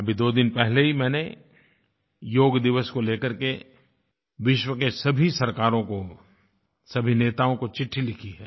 अभी दो दिन पहले ही मैंने योग दिवस को लेकर के विश्व की सभी सरकारों को सभी नेताओं को चिट्ठी लिखी है